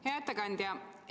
Hea ettekandja!